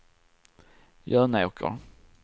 Jönåker